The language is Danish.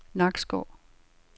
Nakskov